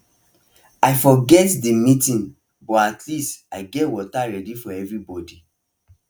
i forget the meeting but at least i get water ready for everybody